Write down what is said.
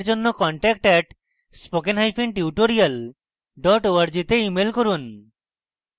বিস্তারিত তথ্যের জন্য contact at spokentutorial org তে ইমেল করুন